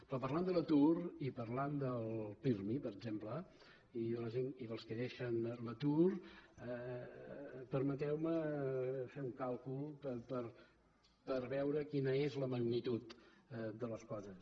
però parlant de l’atur i parlant del pirmi per exemple i dels que deixen l’atur permeteu me fer un càlcul per veure quina és la magnitud de les coses